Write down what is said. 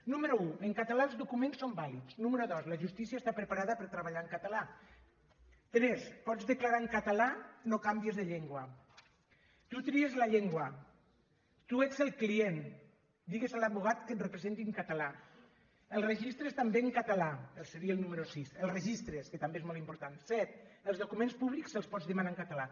número un en català els docu·ments són vàlids número dos la justícia està preparada per treballar en català tres pots declarar en català no canviïs de llengua tu tries la llengua tu ets el client digues a l’advocat que et representi en català els re·gistres també en català seria el número sis el regis·tre que també és molt important set els documents públics els pots demanar en català